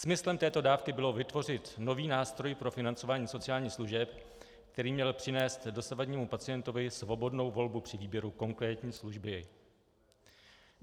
Smyslem této dávky bylo vytvořit nový nástroj pro financování sociálních služeb, který měl přinést dosavadnímu pacientovi svobodnou volbu při výběru konkrétní služby.